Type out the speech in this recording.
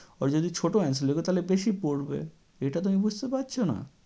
Or যদি ছোট answer লিখ তাহলে বেশি পড়বে, এটা তুমি বুঝতে পারছ না?